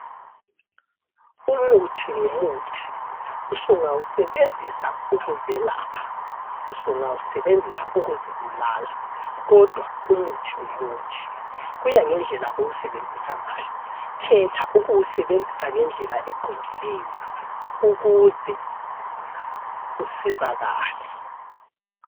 Umuthi ngumuthi, usungawusebenzisa ukuzelapha , usungawusebenzisa ukuzibulala, kodwa umuthi ngumuthi, kuya ngendlela owusebenzisa ngawo , khetha ukuwusebenzisa ngendlela eqondileyo , ukuze usizakale.